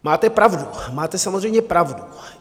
Máte pravdu, máte samozřejmě pravdu.